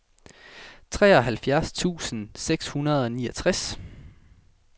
treoghalvfjerds tusind seks hundrede og niogtres